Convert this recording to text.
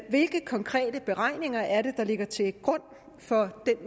hvilke konkrete beregninger er det der ligger til grund for den